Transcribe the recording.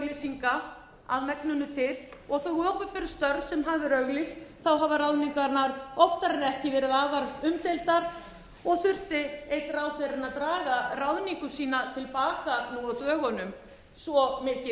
auglýsinga að megninu til og þau opinberu störf sem hafa ærið auglýst þá hafa ráðningarnar oftar en ekki verið afar umdeildar og þurfti einn ráðherrann að draga ráðningu sína til baka nú á dögunum svo mikil